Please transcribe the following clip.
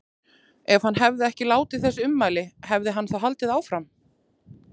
Ef hann hefði ekki látið þessi ummæli, hefði hann þá haldið áfram?